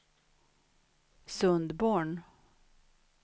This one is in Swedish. Sundborn